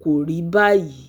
ko ri bayi